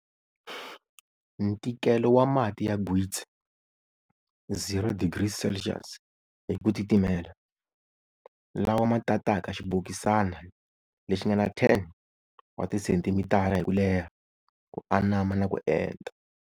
Ntikelo wa mati ya gwitsi 0 degrees Celsius hi ku titimela, lawa ma tataka xibokisana lexingana 10 wa ti sentimitara hi kuleha, ku anama na ku enta.